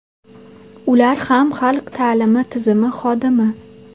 Ular ham xalq ta’limi tizimi xodimi.